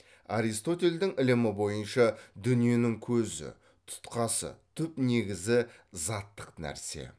аристотельдің ілімі бойынша дүниенің көзі тұтқасы түп негізі заттық нәрсе